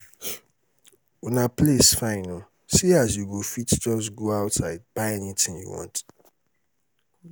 una place fine oo see as you go fit just go outside buy anything you want